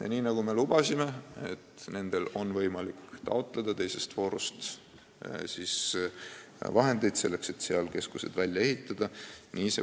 Ja nagu me lubasime, nendel on võimalik taotleda teises voorus vahendeid, et keskus välja ehitada.